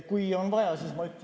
Kui on vaja, siis ma ütlen.